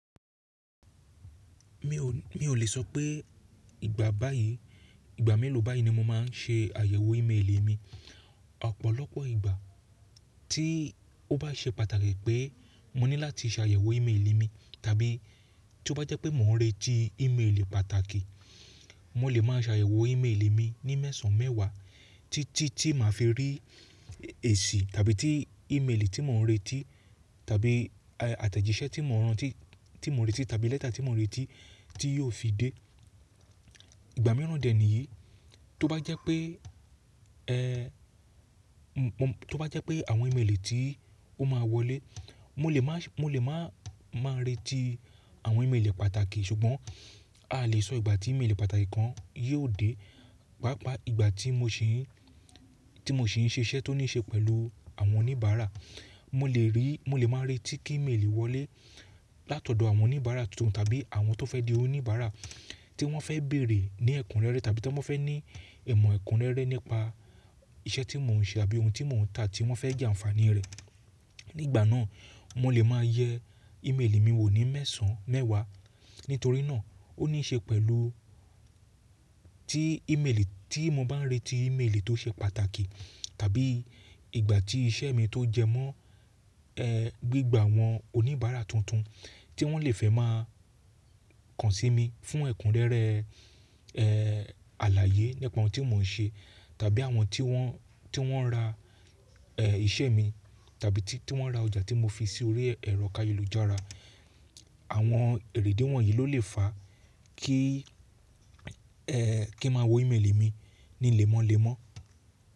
Mi ò, mi ò lè sọ pé ìgbà báyìí, ìgbà mélòó báyìí ni mo máa ń ṣe àyẹ̀wò ímélì mi. Ọ̀pọ̀lọpọ̀ ìgbà tí ó bá ṣe pàtàkì pé mo ní láti ṣe àyẹ̀wò ímélì mi, tàbí tí ó bá jẹ́ pé mò ń retí ímélì pàtàkì, mo lè máa ṣàyẹ̀wò ímélì mi ní mẹ́sàn-án mẹ́wàá títí tí màá fi rí èsì tàbí tí ímélì tí mò ń retí tàbí àtẹ̀jíṣẹ́ tí mò ń rántí, tí mò ń retí tàbí lẹ́tà tí mò ń retí tí yóò fi dé. Ìgbà mìíràn dè níyìí, tó bá jẹ́ pé, mo, tó bá jẹ́ pé àwọn ímélì tí ó máa wọlé, mo lè má, mo lè má, máa retí àwọn ímélì pàtàkì, ṣùgbọ́n a lè sọ ìgbà tí ímélì pàtàkì kan yóò dé. Papa ìgbà tí mo ṣì ń, tí mo ṣì ń ṣiṣẹ́ tó ní ṣe pẹ̀lú àwọn oníbàárà, mo lè rí, mo lè máa retí kí ímélì wọlé látọ̀dọ̀ àwọn oníbàárà tuntun tàbí àwọn tó fẹ́ di oníbàárà tí wọ́n fẹ́ bèrè ní ẹ̀kúnrẹ́rẹ́ tàbí tí wọ́n fẹ́ ní ìmọ̀ ẹ̀kúnrẹ́rẹ́ nípa iṣẹ́ tí mò ń ṣe àbí ohun tí mò ń tà tí wọ́n fẹ́ jẹ àǹfààní rẹ̀. Nígbà náà, mo lè máa yẹ ímélì mi wò ní mẹ́sàn-án mẹ́wàá. Nítorí náà, ó ní ṣe pẹ̀lú tí ímélì, tí mo bá retí ímélì tó ṣe pàtàkì tàbí ìgbà tí iṣẹ́ mi tó jẹmọ́, gbígba àwọn oníbàárà tuntun tí wọ́n lè fẹ́ máa kàn sí mi fún ẹ̀kúnrẹ́rẹ́, àlàyé nípa ohun tí mò ń ṣe tàbí àwọn tí wọ́n, tí wọ́n ra, iṣẹ́ mi tàbí tí, tí wọ́n ra ọjà tí mo fi sí orí ẹ̀rọ kayélujára. Àwọn èrèdé wọ̀nyí ló lè fà kí, kí máa wo ímélì mi ní lẹ́mọ́lẹ́mọ́